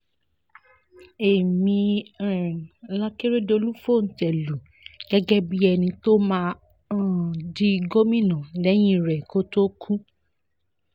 èmi um làkèrèdọ́lù fòńté lù gẹ́gẹ́ bíi ẹni tó máa um di gómìnà lẹ́yìn rẹ̀ kó tóó kú